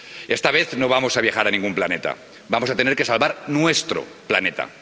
Esta vez no vamos a viajar a ningún planeta, vamos a tener que salvar nuestro planeta.